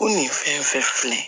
Ko nin fɛn fɛn filɛ